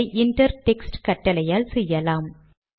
இதை inter textகட்டளையால் செய்யலாம்